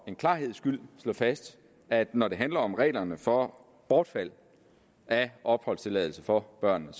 klarhedens skyld slå fast at når det handler om reglerne for bortfald af opholdstilladelse for børnene